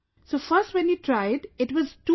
So first when we tried it was too good